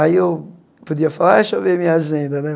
Aí eu podia falar, deixa eu ver minha agenda, né?